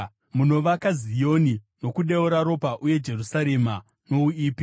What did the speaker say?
munovaka Zioni nokudeura ropa, uye Jerusarema nouipi.